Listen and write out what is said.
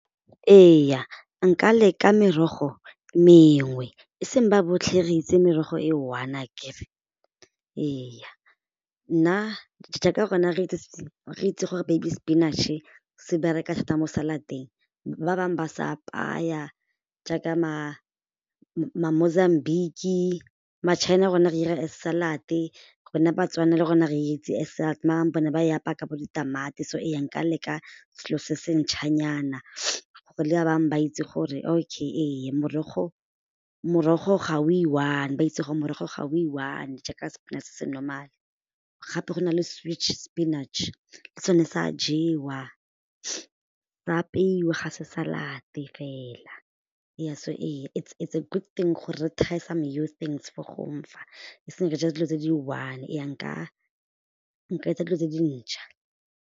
Ee, nka leka merogo mengwe e seng ba botlhe re itse merogo e one akere ee nna, jaaka rona re itse gore baby spinacc-e se bereka thata mo salad-teng ba bangwe ba sa apaya jaaka ma-Mozambigue, ma-China rona re dira as salad-e rona Batswana le rona re itse as maar bone ba e apaya ka bo ditamati so e ya nka leka selo se se ntšhwanyana gore le ba bangwe ba itse gore okay ee morago, morogo ga i-one ba itse gore morago ga o i-one jaaka nna sepinatšhe se normal gape go na le spinach le sone sa jewa sa apeiwa ga se salad-e fela ee, so ee it's a good thing thing gore re try-e some new things fo fa se gore re je dilo tse di one ee nka, nka etsa dilo tse dintšhwa.